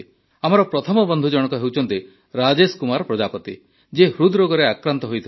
ଆମର ପ୍ରଥମ ବନ୍ଧୁଜଣକ ହେଉଛନ୍ତି ରାଜେଶ କୁମାର ପ୍ରଜାପତି ଯିଏ ହୃଦରୋଗରେ ଆକ୍ରାନ୍ତ ହୋଇଥିଲେ